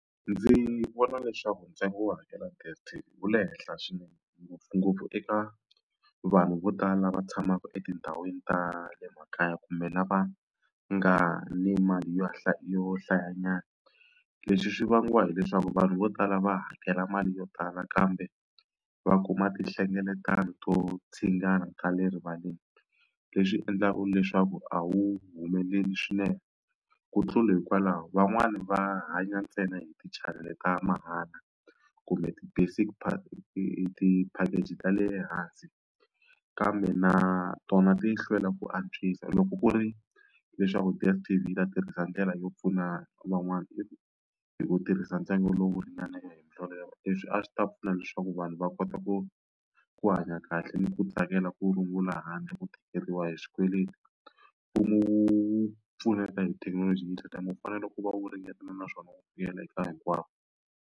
Ndzi vona leswaku ntsengo wo hakela DSTV wu le henhla swinene ngopfungopfu eka vanhu vo tala lava tshamaka etindhawini ta le makaya kumbe lava nga ni mali yo yo hlayanyana leswi swi vangiwa hileswaku vanhu vo tala va hakela mali yo tala kambe va kuma tinhlengeletano to ta le rivaleni leswi endlaka leswaku a wu humeleli swinene ku tlula hikwalaho van'wani va hanya ntsena hi tichanele ta mahala kumbe ti-package ta le hansi kambe na tona ti hlwela ku antswisa loko ku ri leswaku DSTV yi ta tirhisa ndlela yo pfuna van'wana i hi ku tirhisa ntsengo lowu ringana hi ndlela yaleyo leswi a swi ta pfuna leswaku vanhu va kota ku ku hanya kahle ni ku tsakela ku rungula handle ku tikeriwa hi swikweleti mfumo wu pfuneta hi thekinoloji yi ku fanele ku va u ringeta naswona wu vuyela eka hinkwavo.